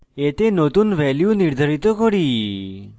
এতে নতুন value নির্ধারিত করি